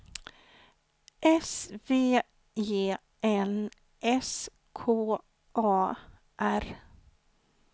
S V E N S K A R